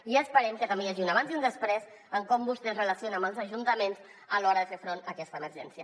i esperem que també hi hagi un abans i un després en com vostè es relaciona amb els ajuntaments a l’hora de fer front a aquesta emergència